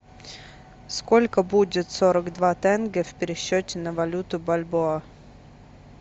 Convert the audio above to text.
сколько будет сорок два тенге в пересчете на валюту бальбоа